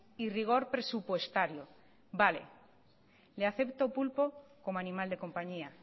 y rigor presupuestario vale le acepto pulpo como animal de compañía